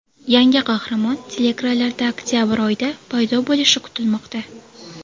Yangi qahramon teleekranlarda oktabr oyida paydo bo‘lishi kutilmoqda.